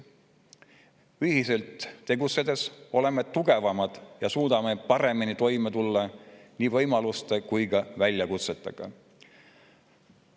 Ühiselt tegutsedes oleme tugevamad ja suudame paremini toime tulla nii võimaluste kui ka väljakutsetega.